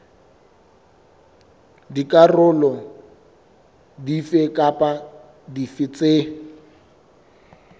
dikarolo dife kapa dife tse